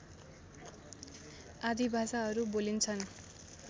आदि भाषाहरू बोलिन्छन्